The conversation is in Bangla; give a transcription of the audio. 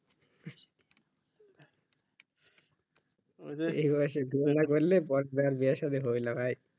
এই বয়সে বিয়া না করলে পড়ে আর বিয়ে সাধি হবে না ভাই